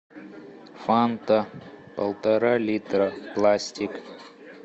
фанта полтора литра пластик